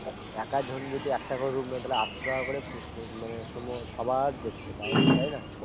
একা জন যদি একটা করে room নেয় আটশো টাকা করে স্মমু সবার যাচ্ছে তাই না